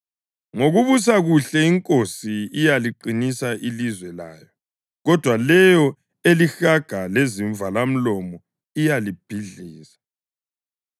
Ngokubusa kuhle inkosi iyaliqinisa ilizwe layo, kodwa leyo elihaga lezivalamlomo iyalibhidliza.